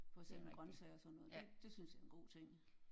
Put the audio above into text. For eksempel grøntsager og sådan noget det det synes jeg er en god ting